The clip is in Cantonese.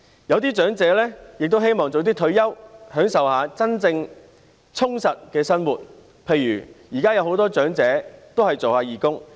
有些長者也希望早點退休，享受一下真正充實的生活，例如現在有很多長者做義工。